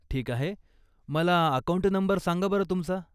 ठीक आहे. मला अकाऊंट नंबर सांगा बंर तुमचा.